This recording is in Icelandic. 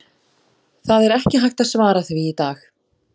Það er ekki hægt að svara því í dag.